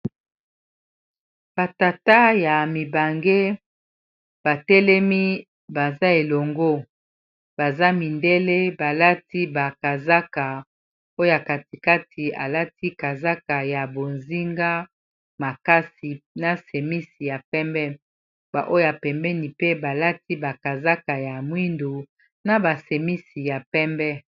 Ba tata ya mibange batelemi baza elongo baza mindele balati ba kazaka oyo ya katikati alati kazaka ya bozinga makasi na semisi ya pembe ba oyo pembeni mpe balati ba kazaka ya mwindu na ba semisi ya pembe.